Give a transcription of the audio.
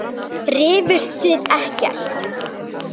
Rifust þið ekkert?